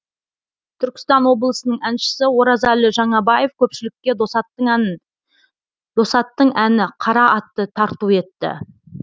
түркістан облысының әншісі оразәлі жаңабаев көпшілікке досаттың әні қара атты тарту етті